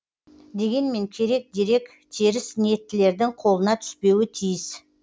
дегенмен керек дерек теріс ниеттілердің қолына түспеуі тиіс